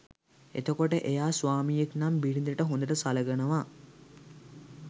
එතකොට එයා ස්වාමියෙක් නම් බිරිඳට හොඳට සලකනවා